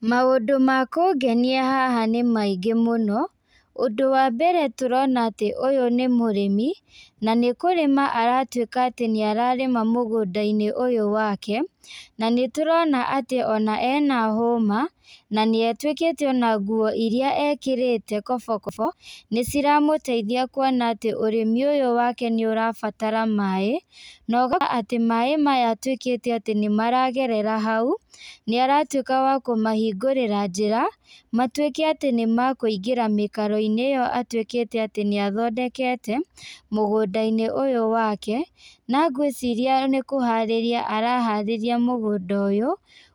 Maũndũ ma kũngenia haha nĩ maingĩ mũno, ũndũ wa mbere tũrona atĩ ũyũ nĩ mũrĩmi, na nĩkũrĩma aratuĩka atĩ nĩararĩma mũgũndainĩ ũyũ wake, na nĩtũrona atĩ ona ena hũma, na nĩatuĩkĩte ona nguo iria ekĩrĩte kobokobo, nĩciramũteithia kuona atĩ ũrĩmi ũyũ wake nĩũrabatara maĩ, na ũgakora atĩ mai maya atuĩkĩte atĩ nĩmaragerera hau, nĩaratuĩka wa kũmahingũrĩra njĩra, matuĩke atĩ nĩmakũingĩra mĩkaroinĩ ĩyo atuĩkĩte atĩ nĩathondekete, mũgũndainĩ ũyũ wake, na ngwĩciria nĩkũharĩrĩa araharĩria mũgũnda ũyũ,